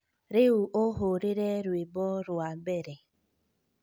Rĩu ũhũrĩre rwĩmbo rwa mbere